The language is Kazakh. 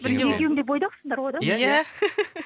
екеуің де бойдақсыңдар ғой да иә